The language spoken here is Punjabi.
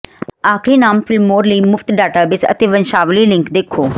ਆਖਰੀ ਨਾਮ ਫਿਲਮੋਰ ਲਈ ਮੁਫ਼ਤ ਡਾਟਾਬੇਸ ਅਤੇ ਵੰਸ਼ਾਵਲੀ ਲਿੰਕ ਦੇਖੋ